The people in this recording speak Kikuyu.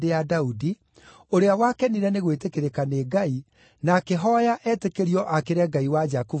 ũrĩa wakenire nĩ gwĩtĩkĩrĩka nĩ Ngai, na akĩhooya etĩkĩrio aakĩre Ngai wa Jakubu gĩikaro.